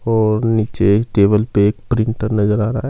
और नीचे टेबल पे एक प्रिंटर नजर आ रहा है।